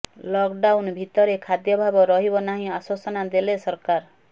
lock down ଭିତରେ ଖାଦ୍ୟାଭାବ ରହିବ ନାହିଁ ଆଶ୍ୱସନା ଦେଲେ ସରକାର